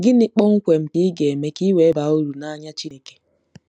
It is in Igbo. Gịnị kpọmkwem ka ị ga-eme ka i wee baa uru n’anya Chineke?